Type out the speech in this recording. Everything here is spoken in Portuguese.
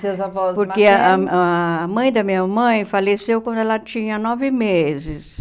Seu avós maternos... Porque ah a mãe da minha mãe faleceu quando ela tinha nove meses.